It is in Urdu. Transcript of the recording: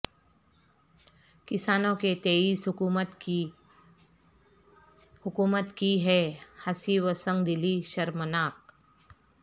کسانوں کے تئیں حکومت کی بے حسی و سنگ دلی شرمناک